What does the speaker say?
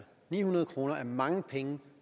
ni hundrede kroner er mange penge